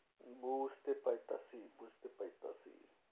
বুঝতে পাইতাছি বুঝতে পাইতাছি।